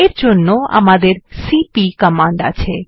এর জন্য আমাদের সিপি কমান্ড আছে